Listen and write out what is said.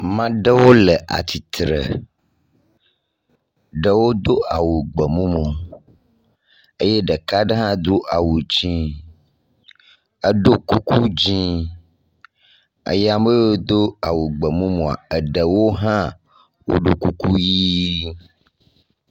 Mea ɖewo le atsitre, ɖewo do gbe mumu, eye ɖeka ɖe hã do awu dzɛ̃, eɖo kuku dzɛ̃ eye ame yewo do awu gbe mumua, eɖewo hã woɖo kuku ʋɛ̃.